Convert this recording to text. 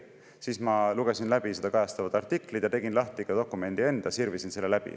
Siis ma lugesin läbi seda kajastavad artiklid ja tegin lahti ka dokumendi enda, sirvisin selle läbi.